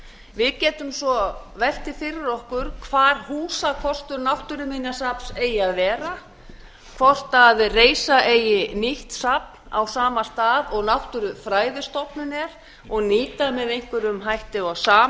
við getum svo velt því fyrir okkur hvar húsakostur náttúruminjasafns eigi að vera hvort reisa eigi nýtt safn á sama stað og náttúrufræðistofnun er og